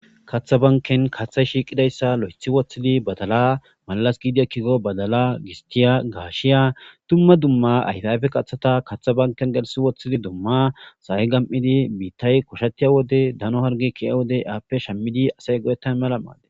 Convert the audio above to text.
katha banken kaththay shiiqidayssa lo'ethi woththidi badala malas giidia kigo badala gistiya gaashiya dumma dumma aydafe qaththata katha banken gelsi woththidi dumma saa'e gam'idi biittay koshatiya wode dano harge kiya wode aappe shammidi asay godettan mala maade